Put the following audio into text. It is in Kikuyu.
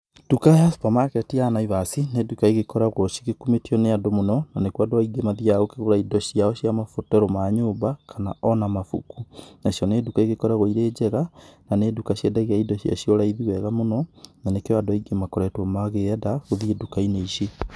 Nduka ya supermarket ya Naivas nĩ nduka ĩgĩkoragwo cĩgĩkumĩtio nĩ andũ mũno, na nĩkwo andũ aĩngĩ mathĩaga kũgura ĩndo cĩao cĩa mabataro ma nyũmba kana ona mabũku. Nacĩo nĩ nduka ĩgikoragwo ĩrĩ njega, na nĩ ndũka cĩendagia ĩndo cĩacĩo raĩthi wega muno, na nĩkio andũ aĩngĩ makoretwo makĩenda gũthiĩ nduka-inĩ ĩcĩ.